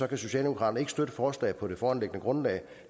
kan socialdemokraterne ikke støtte forslaget på det foreliggende grundlag